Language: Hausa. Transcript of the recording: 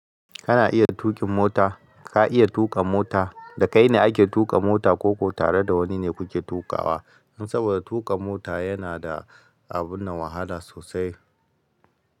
Kana iya tuƙin mota? Ka iya tuƙa mota? Dakai ne ake tuƙa mota koko tare da wani ne kuke tukawa? Saboda tuƙa mota yana da abunnan wahala sosai.